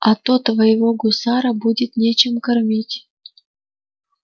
а то твоего гусара будет нечем кормить